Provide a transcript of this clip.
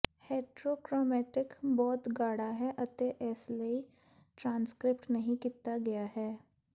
heterochromatin ਬਹੁਤ ਗਾੜਾ ਹੈ ਅਤੇ ਇਸਲਈ ਟ੍ਰਾਂਸਕ੍ਰਿਪਟ ਨਹੀਂ ਕੀਤਾ ਗਿਆ ਹੈ